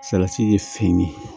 Salati ye fini